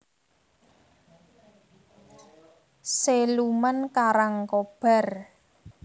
Siluman Karangkobar